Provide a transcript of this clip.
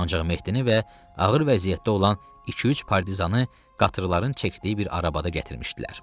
Ancaq Mehdini və ağır vəziyyətdə olan iki-üç partizanı qatırların çəkdiyi bir arabada gətirmişdilər.